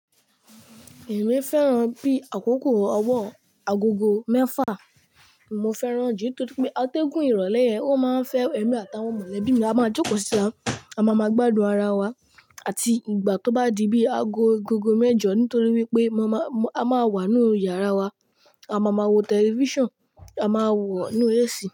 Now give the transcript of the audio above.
Èmi fẹ́ràn bí àkókò ọwọ agogo mẹ́fà. Mo fẹ́ràn jù ní torí pé atẹ́gùn ìrọ̀lẹ́ yẹn, ó máa ń fẹ́ ẹ̀mí àtàwọn mọ̀lẹ́bí mi. A máa jókòó sítà, a máa máa gbádùn ara wa àti ìgbà tó bá di bí aago agogo mẹ́jọ nítorí wípé mo máa, a máa wà ní yàrá wa, a máa máa wo tẹlifíṣàn, a máa wò ó ní AC.